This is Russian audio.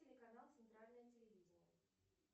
телеканал центральное телевидение